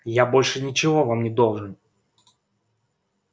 я больше ничего вам не должен